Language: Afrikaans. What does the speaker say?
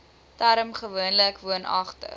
term gewoonlik woonagtig